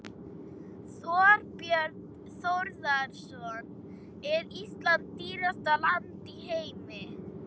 Þorbjörn Þórðarson: Er Ísland dýrasta land í heimi?